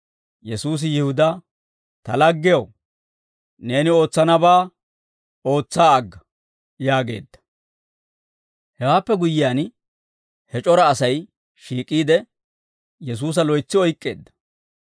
Yesuusi Yihudaa, «Ta laggew, neeni ootsanabaa ootsa agga» yaageedda. Hewaappe guyyiyaan, he c'ora Asay shiik'iide, Yesuusa loytsi oyk'k'eedda.